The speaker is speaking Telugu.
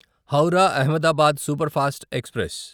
Howrah Ahmedabad superfast express